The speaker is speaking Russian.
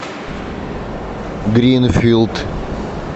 гринфилд